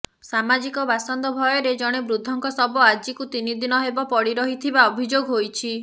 ସାମାଜିକ ବାସନ୍ଦ ଭୟରେ ଜଣେ ବୃଦ୍ଧ ଙ୍କ ଶବ ଆଜିକୁ ତିନିଦିନ ହେବ ପଡି ରହିଥିବା ଅଭିଯୋଗ ହୋଇଛି